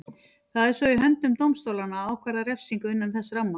Það er svo í höndum dómstólanna að ákvarða refsingu innan þess ramma.